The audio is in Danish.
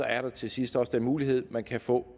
er der til sidst også den mulighed at man kan få